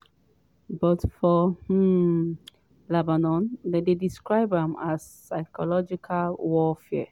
but for um lebanon dem dey describe am as “psychological warfare”.